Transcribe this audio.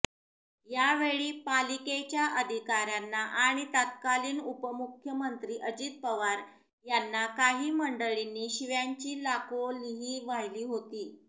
यावेळी पालिकेच्या अधिकाऱयांना आणि तात्कालिन उपमुख्यमंत्री अजित पवार यांना काही मंडळींना शिव्यांची लाखोलीही वाहिली होती